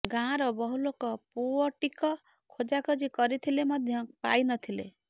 ଗାଁର ବହୁ ଲୋକ ପୁଅଟିକ ଖୋଜାଖୋଜି କରିଥିଲେ ମଧ ପାଇନଥିଲେ